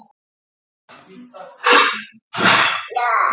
Upplifðir þú tilhlökkun og gleði, nánd og kærleika?